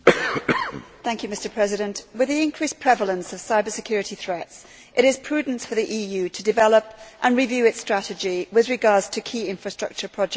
Mr President, with the increased prevalence of cyber security threats, it is prudent for the EU to develop and review its strategy with regard to key infrastructure projects.